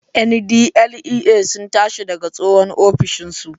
NDLEA sun tashi daga tsohon ofishin su